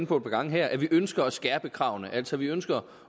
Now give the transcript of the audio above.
på et par gange her at vi ønsker at skærpe kravene altså vi ønsker